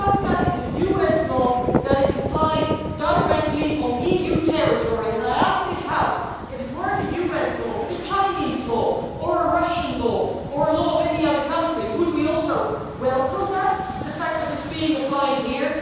But FATCA is a US law that is applied directly on EU territory. I ask this House if it were not a US law but a Chinese or a Russian law or a law of any other country, would we also welcome the fact that it is being applied here?